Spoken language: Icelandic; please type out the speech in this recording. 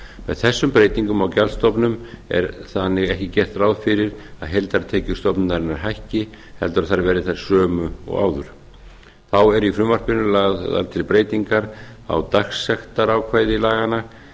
með þessum breytingum á gjaldstofnum er þannig ekki gert ráð fyrir því að heildartekjur stofnunarinnar hækki heldur að þær verði þær sömu og áður þá eru í frumvarpinu lagðar til breytingar á dagsektarákvæði laganna